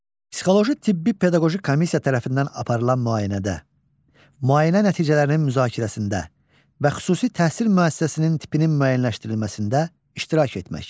Psixoloji tibbi pedaqoji komissiya tərəfindən aparılan müayinədə, müayinə nəticələrinin müzakirəsində və xüsusi təhsil müəssisəsinin tipinin müəyyənləşdirilməsində iştirak etmək.